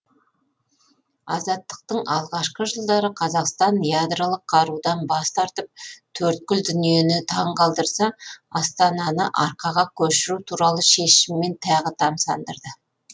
азаттықтың алғашқы жылдары қазақстан ядролық қарудан бас тартып төрткүл дүниені таң қалдырса астананы арқаға көшіру туралы шешіммен тағы тамсандырды